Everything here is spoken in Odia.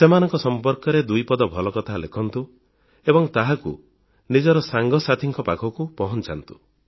ସେମାନଙ୍କ ସଂପର୍କରେ ଦୁଇପଦ ଭଲ କଥା ଲେଖନ୍ତୁ ଏବଂ ଚାହିଁଲେ ନିଜର ସାଙ୍ଗସାଥିଙ୍କ ପାଖକୁ ପହଂଚାନ୍ତୁ